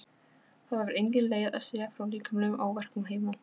Það var engin leið að segja frá líkamlegum áverkum heima.